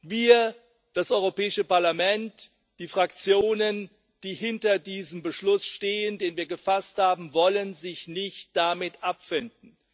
Wir, das Europäische Parlament, die Fraktionen, die hinter diesem Beschluss stehen, den wir gefasst haben, wollen uns nicht damit abfinden.